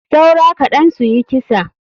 Saura kaɗan suyi kisa.